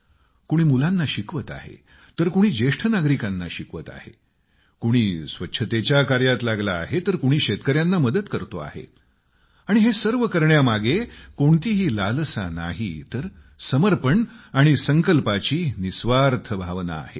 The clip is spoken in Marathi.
कुणी मुलांना शिकवीत आहे तर कुणी ज्येष्ठ नागरिकांना शिकवत आहे कुणी स्वच्छतेच्या कार्यात लागला आहे तर कुणी शेतकर्यांना मदत करतोय आणि हे सर्व करण्यामागे कोणती लालसा नाही तर समर्पण आणि संकल्पाची निस्वार्थी भावना आहे